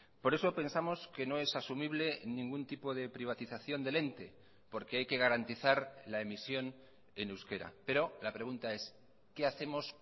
por eso pensamos que no es asumible ningún tipo de privatización del ente porque hay que garantizar la emisión en euskera pero la pregunta es qué hacemos